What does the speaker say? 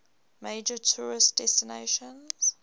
major tourist destination